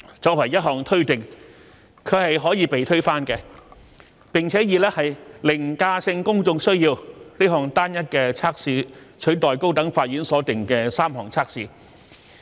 作為一項推定，它是可以被推翻的，並以"凌駕性公眾需要"這項單一測試取代高等法院所訂的3項測試。